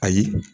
Ayi